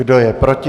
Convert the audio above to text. Kdo je proti?